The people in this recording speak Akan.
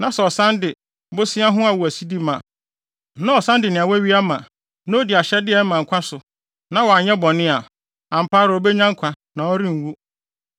na sɛ ɔsan de bosea ho awowaside ma, na ɔsan de nea wawia ma, na odi ahyɛde a ɛma nkwa so, na wanyɛ bɔne a, ampa ara obenya nkwa, na ɔrenwu.